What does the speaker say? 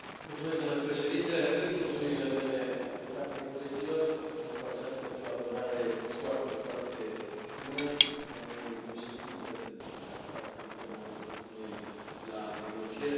Domnule președinte, repet mulțumirile mele adresate colegilor pentru această colaborare foarte, foarte bună, doamnei președintă, pentru că a stat în permanență cu noi la negocieri.